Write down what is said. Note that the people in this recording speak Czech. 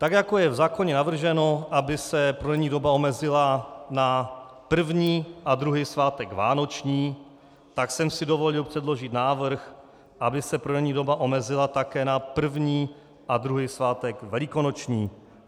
Tak jako je v zákoně navrženo, aby se prodejní doba omezila na první a druhý svátek vánoční, tak jsem si dovolil předložit návrh, aby se prodejní doba omezila také na první a druhý svátek velikonoční.